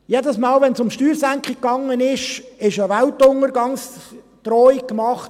Jedes Mal, wenn es um Steuersenkungen ging, wurde eine Weltuntergangsdrohung gemacht: